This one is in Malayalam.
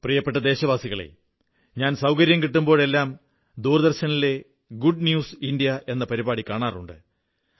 പ്രിയപ്പെട്ട ദേശവാസികളേ ഞാൻ സൌകര്യം കിട്ടുമ്പോഴെല്ലാം ദൂരദർശനിലെ ഗുഡ് ന്യൂസ് ഇന്ത്യ എന്ന പരിപാടി കാണാറുണ്ട്